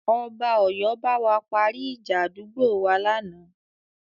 Ọba Ọ̀yọ́ bá wa parí ìjà àdúgbò wa lánàá.